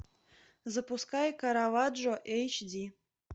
запускай караваджо эйч ди